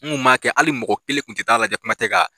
N kun b'a kɛ hali mɔgɔ kelen tun tɛ t'a lajatɛ kuma tɛ ka